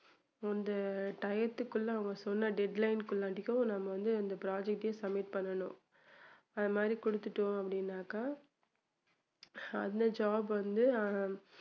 அந்த டயத்துக்குள்ள அவங்க சொன்ன deadline குள்ளாட்டிக்கும் நம்ம வந்து அந்த project ஏ submit பண்ணணும் அது மாதிரி கொடுத்துட்டோம் அப்படின்னாக்கா அதுல job வந்து